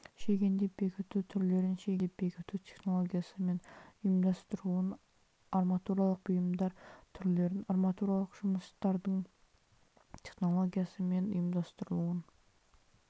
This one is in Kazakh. шегендеп бекіту түрлерін шегендеп бекіту технологиясы мен ұйымдастыруын арматуралық бұйымдар түрлерін арматуралық жұмыстардың технологиясы мен ұйымдастырылуын